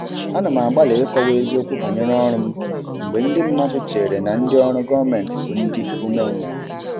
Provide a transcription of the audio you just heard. Ana m agbalị ịkọwa eziokwu banyere ọrụ m mgbe ndị mmadụ chere na ndị ọrụ gọọmentị bụ ndị umengwụ.